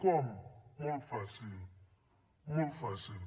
com molt fàcil molt fàcil